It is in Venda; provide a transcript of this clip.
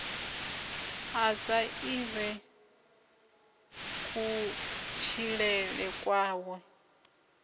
a sa ḓivhe kutshilele kwawe